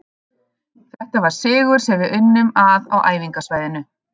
Þetta var sigur sem við unnum að á æfingasvæðinu